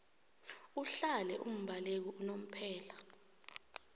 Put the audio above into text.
uhlale umbaleki unomphela